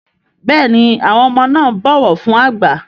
Béèni àwọn ọmọ na ń bó ọwọ fún àgbà.